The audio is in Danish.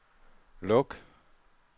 luk